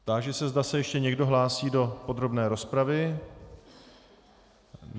Táži se, zda se ještě někdo hlásí do podrobné rozpravy.